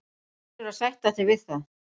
Þú verður að sætta þig við það.